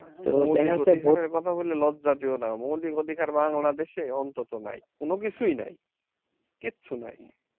মৌলিক অধিকারের কথা বলে লজ্জা দিওনা মৌলিক অধিকার বাংলাদেশে অন্তত নাই কোন কিছুই নাই কিচ্ছু নাই